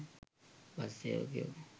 bus සේවකයෝ